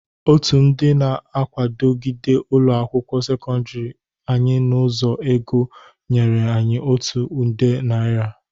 Otu ndị na-akwagide ụlọ akwụkwọ sekọndịrị anyị n'ụzo ego nyere anyị otu nde narị.